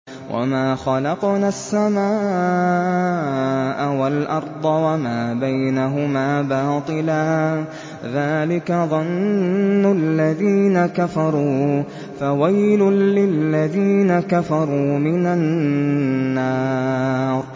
وَمَا خَلَقْنَا السَّمَاءَ وَالْأَرْضَ وَمَا بَيْنَهُمَا بَاطِلًا ۚ ذَٰلِكَ ظَنُّ الَّذِينَ كَفَرُوا ۚ فَوَيْلٌ لِّلَّذِينَ كَفَرُوا مِنَ النَّارِ